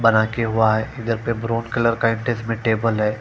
बना के हुआ है घर पर ब्रोंज कलर का इटेचबल टेबल है।